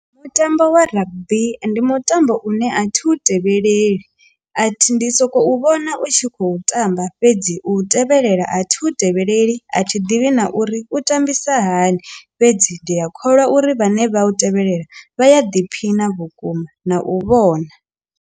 Mutambo wa rugby ndi mutambo une a thi u tevheleleli athi ndi sokou vhona u tshi khou tamba fhedzi u tevhelela a thi u tevheleleli a thi ḓivhi na uri u tambisa hani fhedzi ndi ya kholwa uri vhane vha u tevhelela vha ya ḓiphiṋa vhukuma na u vhona.